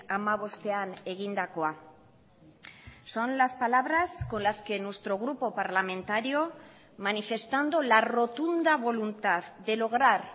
hamabostean egindakoa son las palabras con las que nuestro grupo parlamentario manifestando la rotunda voluntad de lograr